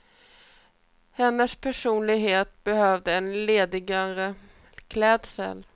Hennes personlighet behövde en ledigare klädsel.